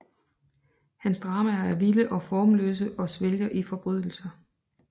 Hans dramaer er vilde og formløse og svælger i forbrydelser